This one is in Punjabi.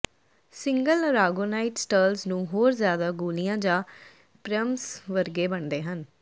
ਸਿੰਗਲ ਅਰਾਗੋਨਾਈਟ ਸਟਰਲਜ਼ ਨੂੰ ਹੋਰ ਜ਼ਿਆਦਾ ਗੋਲੀਆਂ ਜਾਂ ਪ੍ਰਿਯਮਸ ਵਰਗੇ ਬਣਦੇ ਹਨ